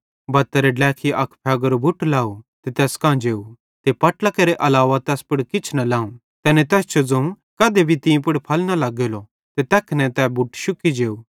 बत्तारे ड्लेखी अक फ़ेगेरो बूट लाव ते तैस कां जेव ते पट्लां केरे अलावा तैस पुड़ किछ न लाव तैनेईं तैस जो ज़ोवं कधे भी तीं पुड़ फल न लग्गेलो ते तैखने तै बुट शुक्की जेव